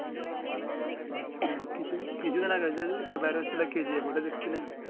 কিছু কিছু দিন আগে যে একটা বার হয়ছিলো KGF ঐ টা দেখছিলেন